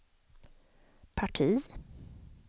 parti